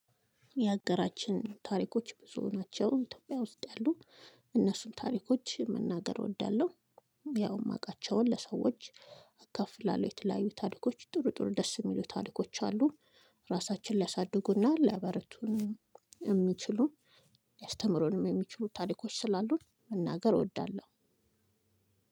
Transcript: የሀገራችን ታሪኮች ብዙ ናቸው። ኢትዮጵያ ውስጥ ያሉ እነሱን ታሪኮች መናገር እወዳለሁ። ያው የማውቃቸውን ለሰዎች አካፍላለሁ። የተለያዩ ታሪኮች ጥሩ ጥሩ ደስ የሚሉ ታሪኮች አሉ። ራሳችንን ሊያሳድጉና ሊያበረቱን የሚችሉ ሊያስተምሩንም የሚችሉ ታሪኮች ስላሉ መናገር እወዳለሁ።